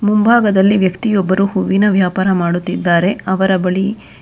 ಮುಂಭಾಗದಲ್ಲಿ ವ್ಯಕ್ತಿಯೊಬ್ಬರು ಹೂವಿನ ವ್ಯಾಪಾರ ಮಾಡುತ್ತಿದ್ದಾರೆ ಅವರ ಬಳಿ ಕೆ--